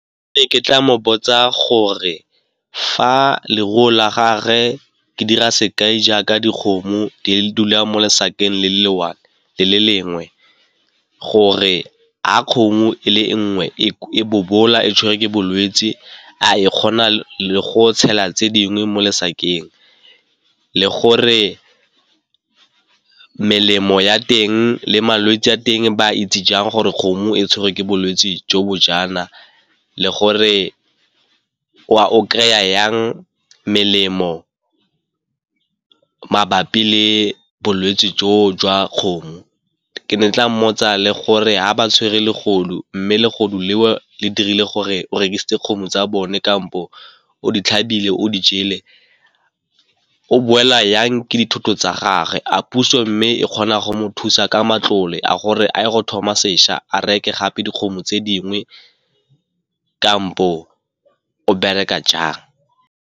Ke ne ke tla mo botsa gore fa leruo la gage ke dira sekai jaaka dikgomo di dula mo lesakeng le le one le le lengwe, gore ga kgomo e le nngwe e bobola e tshwerwe ke bolwetse, a e kgona le go tshela tse dingwe mo lesakeng. Le gore melemo ya teng le malwetse a teng ba itse jang gore kgomo e tshwerwe ke bolwetse jo bo jaana le gore o kry-a yang melemo mabapi le bolwetse jo jwa kgomo. Ke ne ke tla mmotsa le gore ha ba tshwere legodu mme le legodu leo le dirile gore o rekisitse kgomo tsa bone kampo o di tlhabile o di jele, o boela yang ke dithoto tsa gagwe a puso mme e kgona go mo thusa ka matlole a gore a ye go thoma sešwa a reke gape dikgomo tse dingwe kampo o bereka jang.